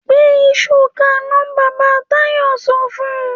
‘Gbé is̩u ka iná!’ Bàbá Táyò̩ so̩ fun